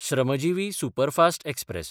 Shramjivi superfast express